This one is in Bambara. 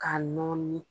K'a nɔɔni